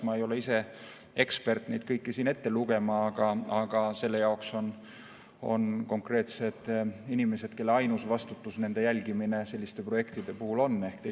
Ma ei ole ise ekspert neid kõiki siin ette lugema, aga selle jaoks on konkreetsed inimesed, kelle ainus vastutus selliste projektide puhul on see jälgimine.